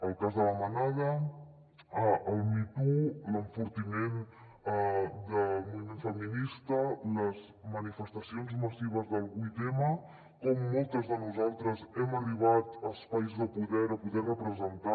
el cas de la manada el me too l’enfortiment del moviment feminista les manifestacions massives del vuit m com moltes de nosaltres hem arribat a espais de poder a poder representar